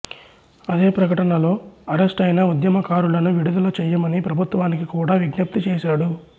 అదే ప్రకటనలో అరెస్టైన ఉద్యమకారులను విడుదల చెయ్యమని ప్రభుత్వానికి కూడా విజ్ఞప్తి చేసాడు